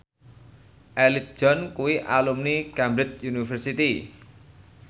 Elton John kuwi alumni Cambridge University